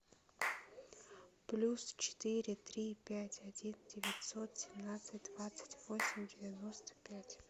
плюс четыре три пять один девятьсот семнадцать двадцать восемь девяносто пять